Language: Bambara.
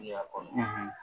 I y'a kɔnɔ